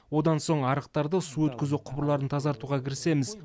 одан соң арықтарды су өткізу құбырларын тазартуға кірісеміз